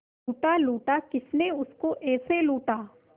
लूटा लूटा किसने उसको ऐसे लूटा